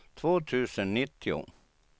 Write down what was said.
två tusen nittio